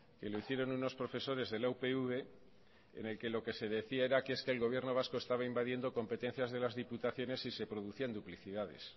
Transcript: que lo hicieron unos profesores de la upv en el que lo que se decía era que es que el gobierno vasco estaba invadiendo competencias de las diputaciones y se producían duplicidades